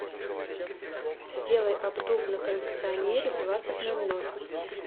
сделай обдув на кондиционере в двадцать ноль ноль